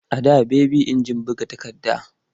A da baby injin buga takarda.